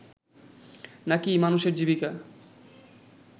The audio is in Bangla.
না কি মানুষের জীবিকা